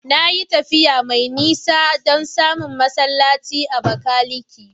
Na yi tafiya mai nisa don samun masallaci a Abakaliki.